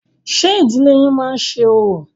Ṣé ìdílé yín má ń ṣe orò?